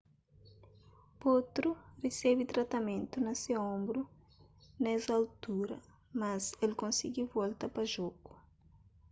potro resebe tratamentu na se onbru nes altura mas el konsigi volta pa jogu